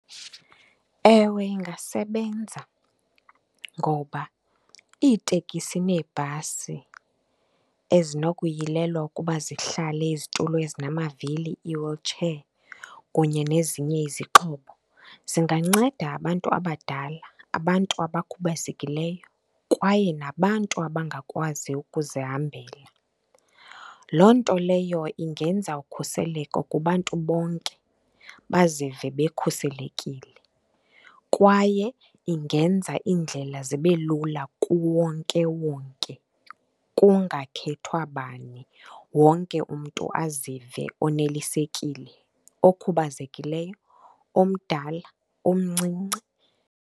Ewe, ingasebenza. Ngoba iitekisi neebhasi ezinokuyilelwa ukuba zihlale izitulo ezinamavili, ii-wheelchair, kunye nezinye izixhobo zinganceda abantu abadala, abantu abakhubazekileyo kwaye nabantu abangakwazi ukuzihambela. Loo nto leyo ingenza ukhuseleko kubantu bonke, bazive bekhuselekile, kwaye ingenza iindlela zibe lula kuwonkewonke. Kungakhethwa bani, wonke umntu azive onelisekile, okhubazekileyo, omdala, omncinci.